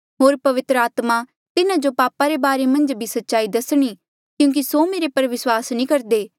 होर पवित्र आत्मा तिन्हा जो पापा रे बारे मन्झ भी सच्चाई दसणी क्यूंकि स्यों मेरे पर विस्वास नी करदे